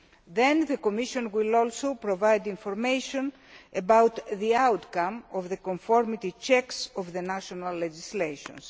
Then the Commission will also provide information about the outcome of the conformity checks of the national legislations.